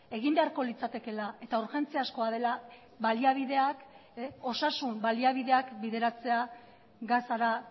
egin beharko litzatekeela eta urgentziazkoa dela osasun baliabideak bideratzea gazara